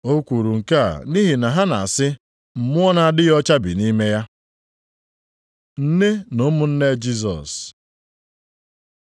O kwuru nke a nʼihi na ha na-asị, “Mmụọ na-adịghị ọcha bi nʼime ya.” Nne na ụmụnne Jisọs